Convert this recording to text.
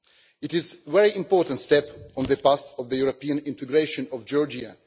It is a very important step on the path of the European integration of Georgia.